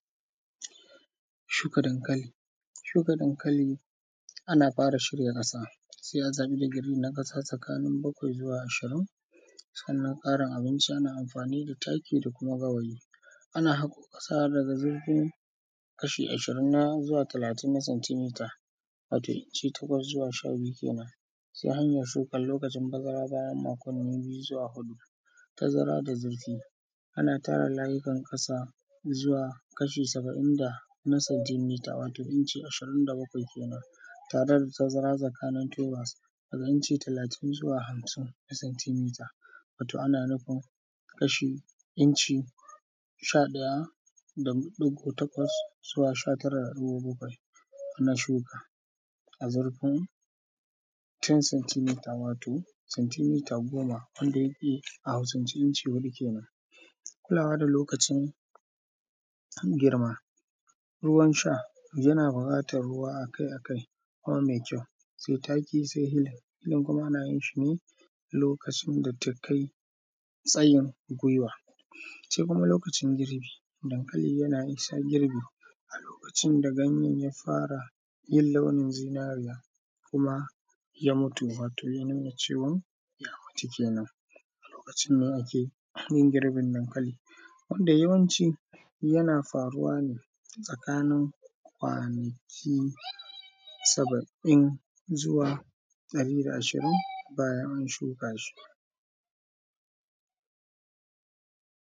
Shuka dankali, shuka dankali ana fara shirya ƙasa sai a sami digiri na ƙasa tsakanin bakwai zuwa ashirin. Sannan ƙarin abinci ana amfani da da taki da kuma gawayi. Ana haƙo ƙasa daga shurfin kasha ashirin zuwa talatin na santimita, wato inci takwas zuwa sha biyu kenan. Sai hanyar shukan, lokaci bazara bayan makwanni biyu zuwa huɗu. tazara da zurfi, ana tara layikan ƙasa zuwa kasha saba’in da na santimita, wato incin ashirin da bakwai kenan. Tare da tazara tsakanin tubas na inci talatin zuwa hamsin na santimita, wato ana nufin kasha, inci sha ɗaya da ɗigo takwas zuwa sha tara da ɗigo bakwai. Na shuka. A zurfin ten sintimita, wato santimita goma, wanda yake a Hausance inci huɗu kenan. Kulawa da lokacin girma, ruwan sha yana buƙatan ruwa a kai a kai, kuma mai kyau, sai taki sai hil. Wannan kuma ana yin shi ne lokacin da ta kai tsayin gwuiwa, sai kuma lokacin girbi, dankali yana isa girbi a lokacin da ganyen ya fara yin launin zinariya. Kuma ya mutu wato ya nuna cewan ya mutu kenan. A lokacin ne ake yin girbin dankali, wanda yawanci yana faruwa ne, tsakanin kwanaki saba’in zuwa ɗari da ashirin bayan an shuka shi.